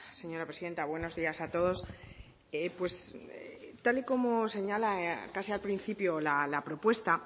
señora presidenta buenos días a todos pues tal y como señala casi al principio la propuesta